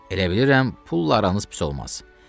Elə bilirəm, pulla aranız pis olmaz.